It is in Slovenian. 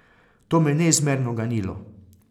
To me je neizmerno ganilo.